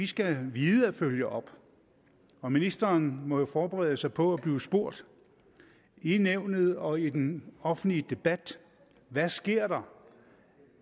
skal vide at følge op og ministeren må jo forberede sig på at blive spurgt i nævnet og i den offentlige debat hvad sker der